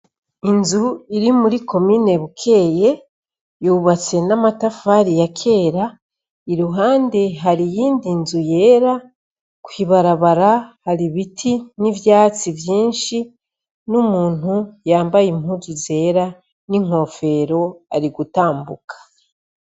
Inzu iri muri komine Bukeye yubatswe n'amatafari ya kera iruhande hari iyindi nzu yera kw'ibarabara hari ibiti n'ivyatsi vyinshi n'umuntu yambaye impuzu zera n'inkofero ari gutambuka.